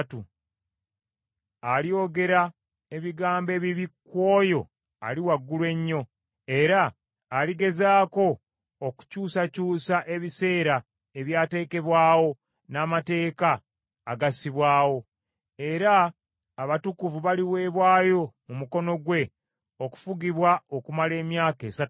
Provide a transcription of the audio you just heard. Alyogera ebigambo ebibi ku Oyo Ali Waggulu Ennyo, era aligezaako okukyusakyusa ebiseera ebyateekebwawo n’amateeka agassibwawo. Era abatukuvu baliweebwayo mu mukono gwe okufugibwa okumala emyaka esatu n’ekitundu.